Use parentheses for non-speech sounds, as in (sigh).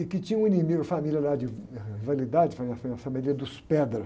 e que tinha um inimigo, família lá de ãh, (unintelligible) família, família dos. (unintelligible)